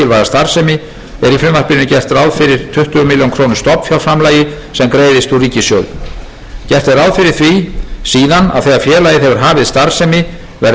starfsemi er í frumvarpinu gert ráð fyrir tuttugu milljónir króna stofnfjárframlagi sem greiðist úr ríkissjóði gert er ráð fyrir því síðan að þegar félagið hefur hafið starfsemi verði